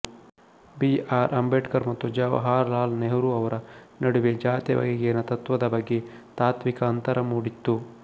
B R Ambedkar ಮತ್ತು ಜವಾಹರಲಾಲ್ ನೆಹರೂ ಅವರ ನಡುವೆ ಜಾತಿ ಬಗೆಗಿನ ತತ್ವದ ಬಗ್ಗೆ ತಾತ್ವಿಕ ಅಂತರ ಮೂಡಿತ್ತು